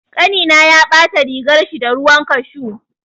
Ƙanina ya ɓata rigarshi da ruwan kashu.